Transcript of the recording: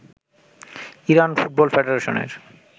Iran football ফেডাশনের